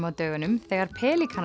á dögunum þegar